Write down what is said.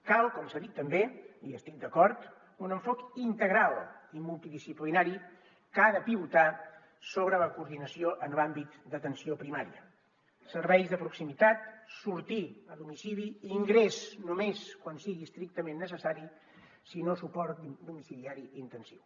cal com s’ha dit també i hi estic d’acord un enfocament integral i multidisciplinari que ha de pivotar sobre la coordinació en l’àmbit d’atenció primària serveis de proximitat sortir a domicili ingrés només quan sigui estrictament necessari si no suport domiciliari intensiu